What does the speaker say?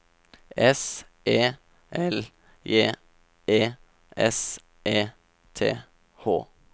S E L J E S E T H